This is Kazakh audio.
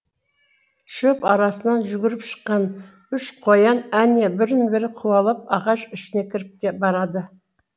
шөп арасынан жүгіріп шыққан үш қоян әне бірін бірі қуалап ағаш ішіне кіріп барады